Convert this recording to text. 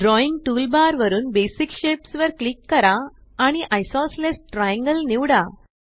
drawing toolbar वरुन basic shapes वर click करा आणि आयसोसेलेस ट्रायंगल निवडा